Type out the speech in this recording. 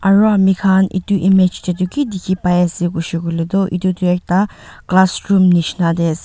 aro aminkhan edu image taetu ki dikhipaiase koshey koilae tu edu tu ekta classroom nishina taease.